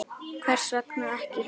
Þulur: Hvers vegna ekki?